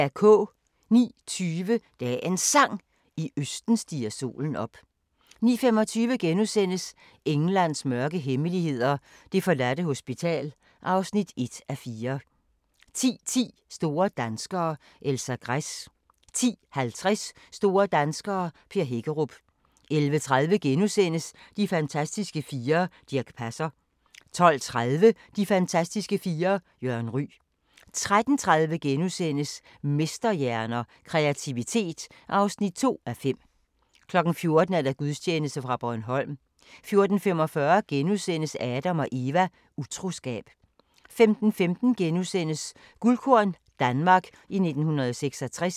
09:20: Dagens Sang: I østen stiger solen op 09:25: Englands mørke hemmeligheder – det forladte hospital (1:4)* 10:10: Store danskere - Elsa Gress 10:50: Store danskere - Per Hækkerup 11:30: De fantastiske fire: Dirch Passer * 12:30: De fantastiske fire: Jørgen Ryg 13:30: Mesterhjerner – Kreativitet (2:5)* 14:00: Gudstjeneste fra Bornholm 14:45: Adam & Eva: Utroskab * 15:15: Guldkorn – Danmark i 1966 *